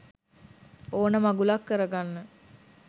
ඕන මගුලක් කරගන්න